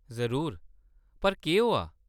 जरूर, पर केह्‌‌ होआ ?